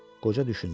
Qoca düşündü.